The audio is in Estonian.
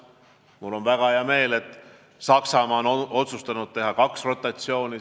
Mul on väga hea meel, et Saksamaa on otsustanud teha siin kaks rotatsiooni.